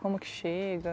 Como que chega?